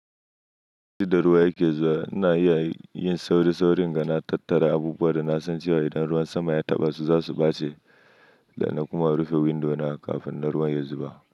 Duk da ruwa yake zuwa, na yi yin sauri-sauri inga na tattara abubuwa da na san cewa idan ruwan sama ya taɓa su za su ɓace da na kuma rufe windo na kafin ruwan ya zuba.